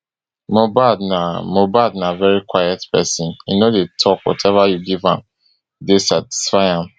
mohbad na mohbad na veri quiet pesin e no dey tok whatever you give am dey satisfy am